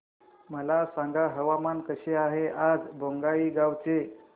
मला सांगा हवामान कसे आहे आज बोंगाईगांव चे